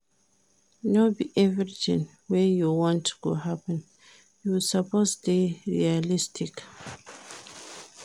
No be everytin wey you want go happen, you suppose dey realistic.